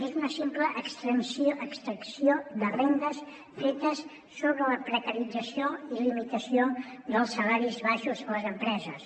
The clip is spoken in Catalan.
és una simple extracció de rendes fetes sobre la precarització i limitació dels salaris baixos a les empreses